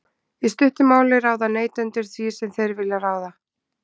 í stuttu máli ráða neytendur því sem þeir vilja ráða